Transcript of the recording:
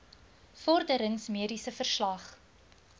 vorderings mediese verslag